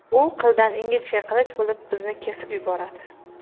u qildan ingichka qilich bo‘lib bizni kesib yuboradi.